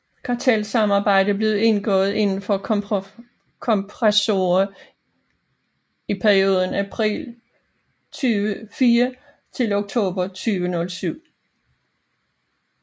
Kartelsamarbejdet blev indgået indenfor kompressorer i perioden april 2004 til oktober 2007